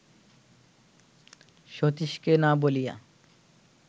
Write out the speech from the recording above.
সতীশকে না বলিয়া